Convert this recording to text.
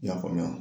I y'a faamuya